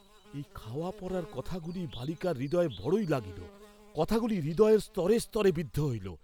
এই খাওয়া পরার কথাগুলি বালিকার হৃদয়ে বড়ই লাগিল, কথাগুলি হৃদয়ের স্তরে স্তরে বিদ্ধ হইল।